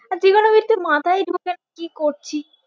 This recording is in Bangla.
আহ trigonometry মাথায় ঢোকে না কি করছি